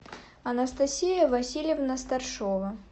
анастасия васильевна старшова